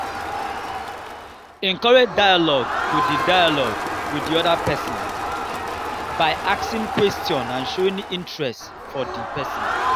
encourage dialogue with di dialogue with di oda person by asking question and showing interest for di person